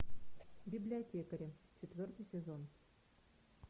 библиотекари четвертый сезон